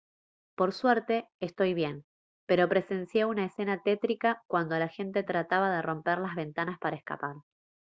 por suerte estoy bien pero presencié una escena tétrica cuando la gente trataba de romper las ventanas para escapar